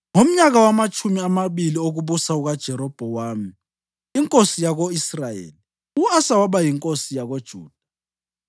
Ngomnyaka wamatshumi amabili okubusa kukaJerobhowamu inkosi yako-Israyeli, u-Asa waba yinkosi yakoJuda,